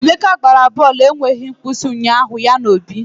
Emeka gbara bọọlụ enweghị nkwụsị ụnyaahụ ya na Obi